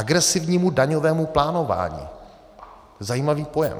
Agresivnímu daňovému plánování, zajímavý pojem.